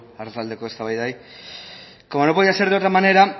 arratsaldeko eztabaidari como no podía ser de otra manera